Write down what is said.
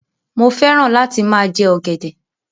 Mo fẹ́ràn láti máa jẹ ọ̀gẹ̀dẹ̀.